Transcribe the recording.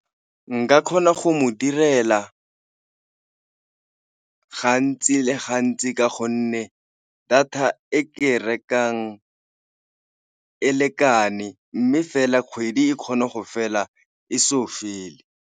Nka kgona go mo direla gantsi le gantsi ka gonne data e ke e rekang e lekane, mme fela kgwedi e kgona go fela e so fele.